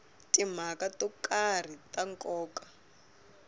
timhaka to karhi ta nkoka